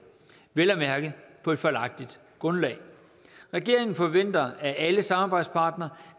vel at mærke på et fejlagtigt grundlag regeringen forventer at alle samarbejdspartnere